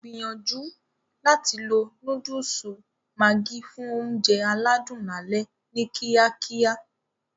Gbìyànjú láti lo Núdùùsù Maggi fún oúnjẹ aládùn lálẹ́ ni kíákíá